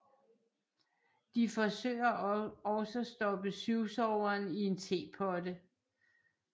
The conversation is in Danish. De forsøger også stoppe syvsoveren i en tepotte